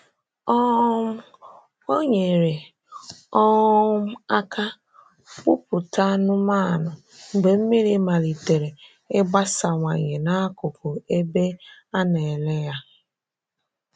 um Ọ nyere um aka kpụ̀pụta anụ́manụ mgbe mmiri maliterè ịgbasawanye n’akụkụ ebe a na-ele ha.